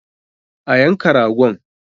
A yanka ragon!